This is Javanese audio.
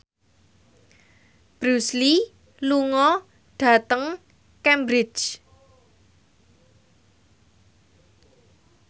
Bruce Lee lunga dhateng Cambridge